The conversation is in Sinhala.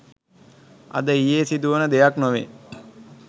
අද ඊයේ සිදුවන දෙයක් නොවේ